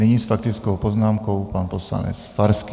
Nyní s faktickou poznámkou pan poslanec Farský.